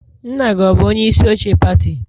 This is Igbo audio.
Nna gị ọ bụ onye isi oche pati?